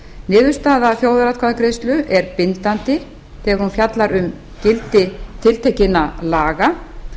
niðurstaða þjóðaratkvæðagreiðslu er bindandi þegar hún fjallar um gildi tiltekinna laga